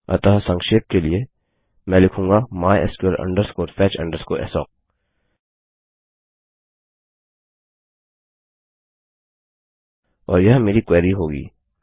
अतः संक्षेप के लिए मैं लिखूँगा mysql fetch assoc और यह मेरी क्वेरी होगी